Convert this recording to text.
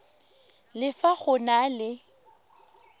le fa go na le